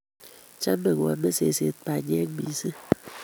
Chame koame seset mpanyek mising